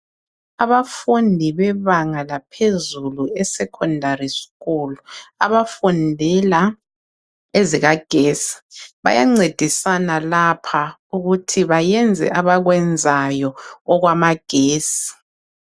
Abafundi bebanga laphezulu e secondary school. Abafundela ezika gesi. Bayancedisana lapha ukuthi bayenze abakwenzayo okwa magesi.